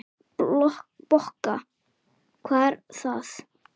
Bokka, hvað er það?